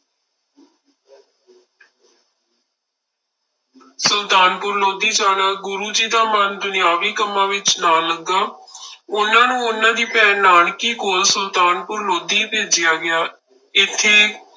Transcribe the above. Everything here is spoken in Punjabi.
ਸੁਲਤਾਨਪੁਰ ਲੋਧੀ ਜਾਣਾ, ਗੁਰੂ ਜੀ ਦਾ ਮਨ ਦੁਨਿਆਵੀ ਕੰਮਾਂ ਵਿੱਚ ਨਾ ਲੱਗਾ ਉਹਨਾਂ ਨੂੰ ਉਹਨਾਂ ਦੀ ਭੈਣ ਨਾਨਕੀ ਕੋਲ ਸੁਲਤਾਨਪੁਰ ਲੋਧੀ ਭੇਜਿਆ ਗਿਆ, ਇੱਥੇ